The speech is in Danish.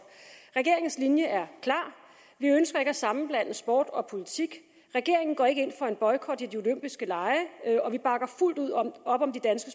regeringens linje er klar vi ønsker ikke at sammenblande sport og politik regeringen går ikke ind for en boykot af de olympiske lege og vi bakker fuldt ud op om danske